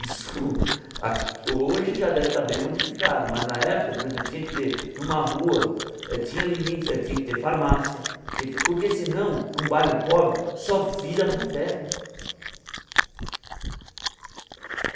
Isso a hoje já deve estar bem modificado, mas na época, por exemplo, tinha que ter numa rua, eh tinha limite eh tinha que ter farmácia tinha que ter, porque senão, num bairro pobre, só vira boteco.